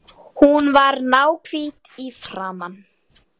Hún var náhvít í framan.